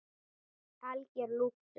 Algjör lúxus.